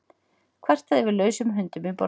Kvartað yfir lausum hundum í borginni